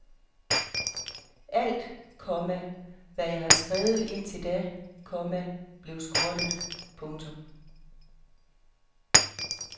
Alt, komma hvad jeg havde skrevet indtil da, komma blev skrottet. punktum